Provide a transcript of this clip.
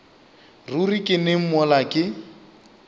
ruri ke neng mola ke